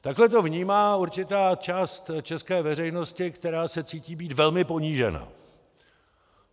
Takhle to vnímá určitá část české veřejnosti, která se cítí být velmi ponížena.